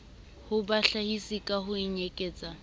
ho bahlahisi ka ho ikenyetsa